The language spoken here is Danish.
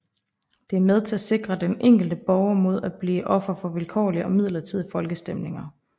Det er med til at sikre den enkelte borger mod at blive offer for vilkårlige og midlertidige folkestemninger